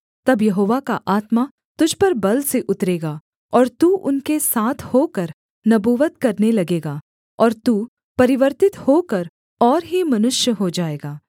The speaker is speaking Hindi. तब यहोवा का आत्मा तुझ पर बल से उतरेगा और तू उनके साथ होकर नबूवत करने लगेगा और तू परिवर्तित होकर और ही मनुष्य हो जाएगा